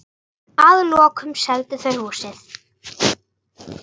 Að lokum seldu þau húsið.